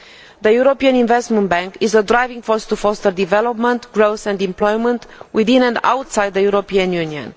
The European Investment Bank is a driving force to foster development, growth and employment within and outside the European Union.